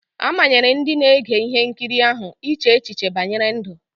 A manyere ndị na-ege ihe nkiri ahụ iche echiche banyere ndụ.